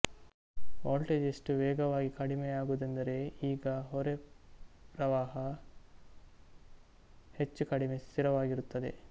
voltage ಎಷ್ಟು ವೇಗವಾಗಿ ಕಡಿಮೆಯಾಗುವುದೆಂದರೆ ಈಗ ಹೊರೆಪ್ರವಾಹ ಹೆಚ್ಚು ಕಡಿಮೆ ಸ್ಥಿರವಾಗಿರುತ್ತದೆ